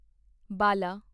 ਬਲਾਂ